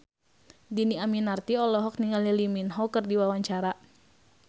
Dhini Aminarti olohok ningali Lee Min Ho keur diwawancara